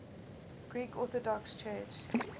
greek orthodox church